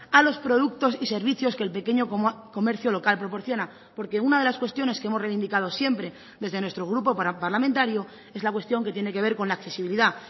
a los productos y servicios que el pequeño comercio local proporciona porque una de las cuestiones que hemos reivindicado siempre desde nuestro grupo parlamentario es la cuestión que tiene que ver con la accesibilidad